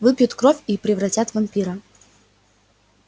выпьют кровь и превратят в вампира